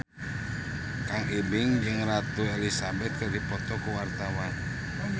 Kang Ibing jeung Ratu Elizabeth keur dipoto ku wartawan